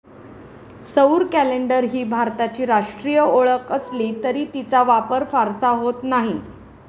सौर कॅलेंडर ही भारताची राष्ट्रीय ओळख असली तरी तिचा वापर फारसा होत नाही.